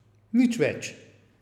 Nič več.